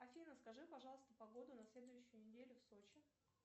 афина скажи пожалуйста погоду на следующую неделю в сочи